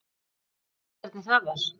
Munið þið hvernig það var?